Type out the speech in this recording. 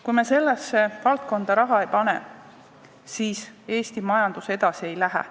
Kui me sellesse valdkonda raha ei pane, siis Eesti majandus edasi ei lähe.